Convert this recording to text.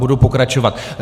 Budu pokračovat.